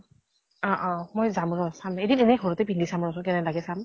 অ অ । মই যাম ৰ চাম॥ এদিন এনে ঘৰতে পিন্ধি চাম ৰ চোন কেনে লাগে চাম।